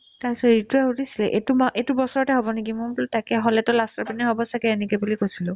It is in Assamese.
তাৰপিছত ৰিতুয়ে সুধিছিলে এইটো মাহ এইটো বছৰতে হ'ব নেকি মই বোলো তাকে হ'লেতো last ৰ পিনে হ'ব ছাগে এনেকে বুলি কৈছিলো